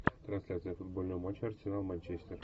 трансляция футбольного матча арсенал манчестер